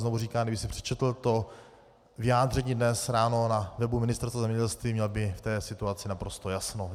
Znovu říkám, kdyby si přečetl to vyjádření dnes ráno na webu Ministerstva zemědělství, měl by v té situaci naprosto jasno.